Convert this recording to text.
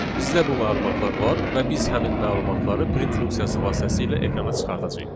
bizdə bu məlumatlar var və biz həmin məlumatları print funksiyası vasitəsilə ekrana çıxardacağıq.